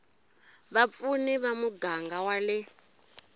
vapfuni ya muganga wa le